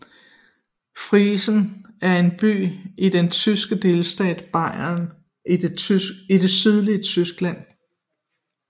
Freising er en by i den tyske delstat Bayern i det sydlige Tyskland